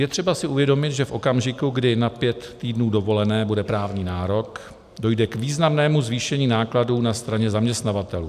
Je třeba si uvědomit, že v okamžiku, kdy na pět týdnů dovolené bude právní nárok, dojde k významnému zvýšení nákladů na straně zaměstnavatelů.